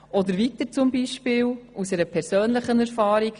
Oder als weiteres Beispiel nenne ich Ihnen eine persönliche Erfahrung.